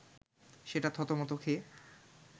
সেটা থতমত খেয়ে